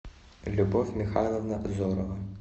любовь михайловна зорова